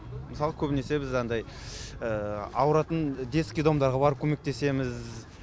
мысалы көбінесе біз андай ауыратын детский домдарға барып көмектесеміз